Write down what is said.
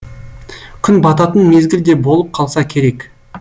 күн бататын мезгіл де болып қалса керек